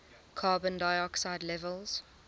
carbon dioxide levels